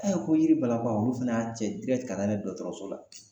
ko yiri balaba olu fana y'a cɛ ka taa n'a ye dɔgɔtɔrɔso la.